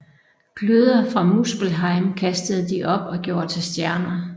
Gløder fra Muspelheim kastede de op og gjorde til stjerner